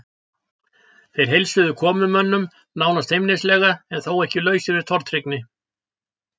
Þeir heilsuðu komumönnum nánast feimnislega en þó ekki lausir við tortryggni.